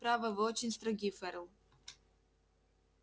право вы очень строги ферл